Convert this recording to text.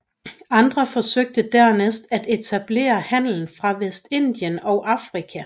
Andre forsøgte dernæst at etablere handel fra Vestindien og Afrika